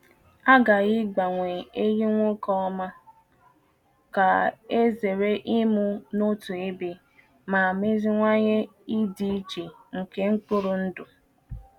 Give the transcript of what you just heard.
A ghaghị igbanwe ehi nwoke ọma ka e zere ịmụ n’otu egbe ma meziwanye ịdị iche nke mkpụrụ ndụ.